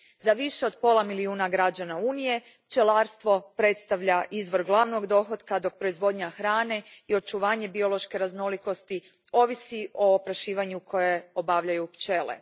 Za više od pola milijuna građana Unije pčelarstvo predstavlja izvor glavnog dohotka, dok proizvodnja hrane i očuvanje biološke raznolikosti ovise o oprašivanju koje obavljaju pčele.